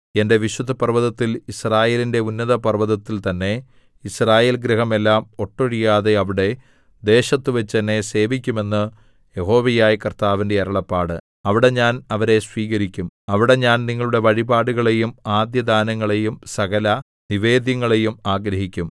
എന്റെ വിശുദ്ധപർവ്വതത്തിൽ യിസ്രായേലിന്റെ ഉന്നത പർവ്വതത്തിൽ തന്നെ യിസ്രായേൽഗൃഹമെല്ലാം ഒട്ടൊഴിയാതെ അവിടെ ദേശത്തുവച്ച് എന്നെ സേവിക്കുമെന്ന് യഹോവയായ കർത്താവിന്റെ അരുളപ്പാട് അവിടെ ഞാൻ അവരെ സ്വീകരിക്കും അവിടെ ഞാൻ നിങ്ങളുടെ വഴിപാടുകളെയും ആദ്യദാനങ്ങളെയും സകലനിവേദ്യങ്ങളെയും ആഗ്രഹിക്കും